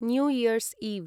new year's इव्